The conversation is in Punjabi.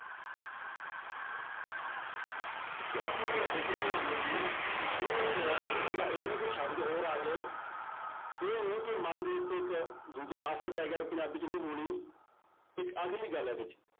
ਤੇ ਅਸੀਂ ਜਦੋਂ ਸਿੱਖਦੇ ਹਾਂ ਬੋਲੀ ਉਹਦੇ ਚ ਇਕੱਲਾ ਇਹ ਨੀ ਕਿ ਸ਼ਬਦ ਹੋਰ ਆ ਗਏ, ਇਹ ਨੀ ਕਿ ਮਨ ਦੇ ਉੱਤੇ ਇੱਕ ਦੂਜਿਆਂ ਦਾ ਅਸਰ ਪੈ ਗਿਆ, ਪੰਜਾਬੀ ਚ ਨਹੀਂ ਹੋਣੀ ਇੱਕ ਆਖਰਲੀ ਗੱਲ ਹੈ ਇਹਦੇ ਚ